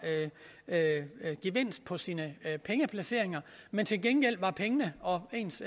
gevinst på sine pengeplaceringer men til gengæld var pengene og ens